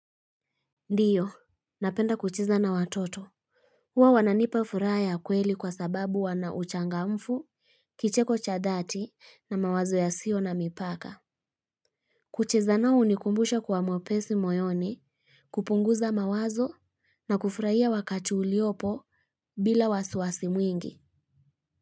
Ndiyo, napenda kucheza na watoto. Huwa wananipa furaha kweli kwa sababu wana uchangamfu, kicheko cha dhati na mawazo yasiyo na mipaka. Kucheza nao hunikumbusha kwa mwepesi moyoni, kupunguza mawazo na kufurahia wakati uliopo bila wasi wasi mwingi.